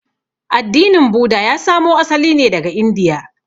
Addinin Buda ya samo asali ne daga Indiya.